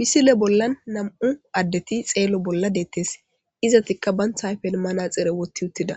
Missile bollan nam'u addeti xello bollan dettes izetika banta stiffen manaxxire woththi uttida